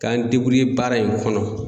K'an baara in kɔnɔ.